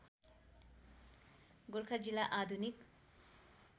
गोरखा जिल्ला आधुनिक